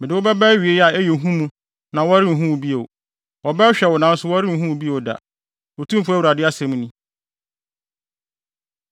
Mede wo bɛba awiei a ɛyɛ hu mu na worenhu bio. Wɔbɛhwehwɛ wo nanso wɔrenhu wo bio da, Otumfo Awurade asɛm ni.”